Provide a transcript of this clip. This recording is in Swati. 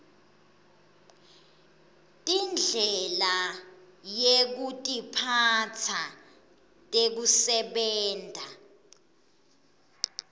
tindlela yekutiphatsa tekusebenta